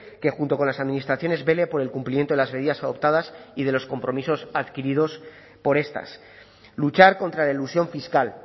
que junto con las administraciones vele por el cumplimiento de las medidas adoptadas y de los compromisos adquiridos por estas luchar contra la elusión fiscal